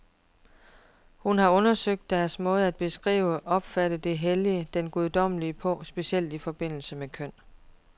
Hun har undersøgt deres måde at beskrive, opfatte det hellige, det guddommelige på, specielt i forbindelse med køn.